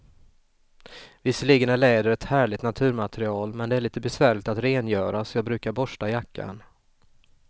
Visserligen är läder ett härligt naturmaterial, men det är lite besvärligt att rengöra, så jag brukar borsta jackan.